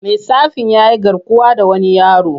Matsafin ya yi garkuwa da wani yaro.